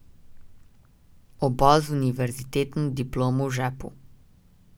Oba z univerzitetno diplomo v žepu.